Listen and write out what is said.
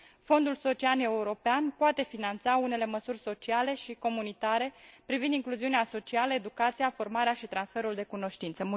Fondul social european poate finanța unele măsuri sociale și comunitare privind incluziunea socială, educația, formarea și transferul de cunoștințe.